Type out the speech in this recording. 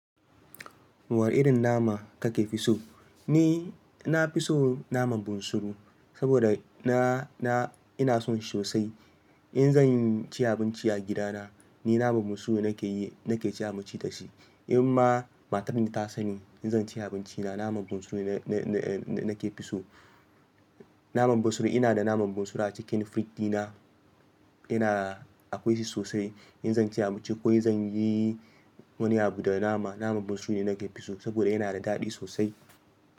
Wanna irin nama kake fi so? Ni, na fi so naman bunsuru saboda na, na, ina son shi sosai. In zan ci abinci a gidana ni naman bunsuru nake yi, nake ci abinci da shi. In ma matan da ta sanni in zan ci abinci da naman bunsuru nake fi so. Naman bunsuru ina da naman bunsuru a cikin firiji di na, ina akwai shi sosai. In zan ci abinci ko zan yi wani abu da nama, naman bunsuru ne nake fi so saboda yana da daɗi sosai.